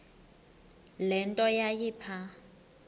le nto yayipha